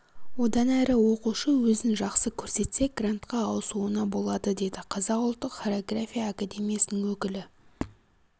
одан әрі оқушы өзін жақсы көрсетсе грантқа ауысуына болады деді қазақ ұлттық хореография академиясының өкілі